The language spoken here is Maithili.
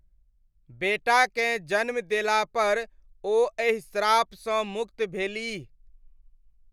बेटाकेँ जन्म देलापर ओ एहि श्रापसँ मुक्त भेलीह।